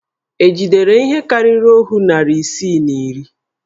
È jidere ihe karịrị òhú narị isii na iri?